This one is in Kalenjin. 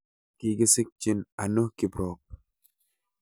Kigisikchin ano kiprop